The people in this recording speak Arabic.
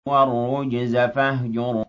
وَالرُّجْزَ فَاهْجُرْ